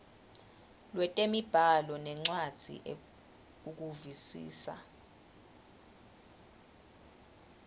lwetemibhalo nencwadzi ukuvisisa